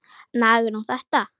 Nagar hún þetta?